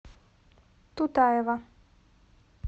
тутаева